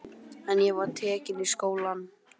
En ég var tekin í skólann.